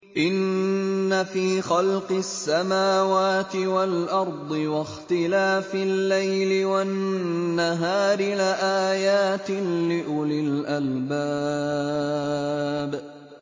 إِنَّ فِي خَلْقِ السَّمَاوَاتِ وَالْأَرْضِ وَاخْتِلَافِ اللَّيْلِ وَالنَّهَارِ لَآيَاتٍ لِّأُولِي الْأَلْبَابِ